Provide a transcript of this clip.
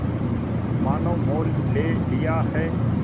मानो मोल ले लिया है